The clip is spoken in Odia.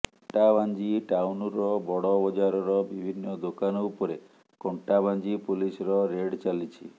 କଣ୍ଟାବାଂଜି ଟାଉନର ବଡ ବଜାରର ବିଭିନ୍ନ ଦେକାନ ଉପରେ କଣ୍ଟବାଂଜି ପୋଲିସର ରେଡ ଚାଲିଛି